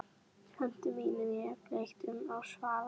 Höndum mínum hef ég fleygt upp á svalir.